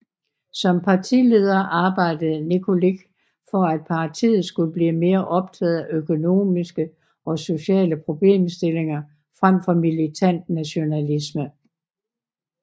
Som partileder arbejdede Nikolić for at partiet skulle blive mere optaget af økonomiske og sociale problemstillinger frem for militant nationalisme